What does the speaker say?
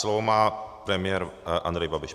Slovo má premiér Andrej Babiš.